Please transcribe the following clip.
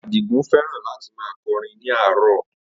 Adigun fẹ́ràn láti máa kọrin ní àárọ̀